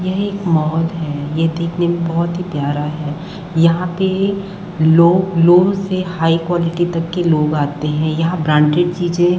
यहाँ एक मॉल है यह देखने में बहुत ही प्यारा है यहाँ पे लो लो से हाई कवालिटी तक के लोग आते है यहाँ ब्रांडेड चीजे --